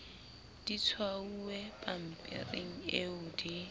di tshwauwe pampiring eo di